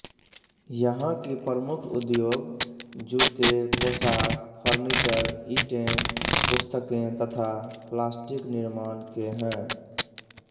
यहाँ की प्रमुख उद्योग जूते पोशाक फर्निचर ईटें पुस्तकें तथा प्लास्टिक निर्माण के हैं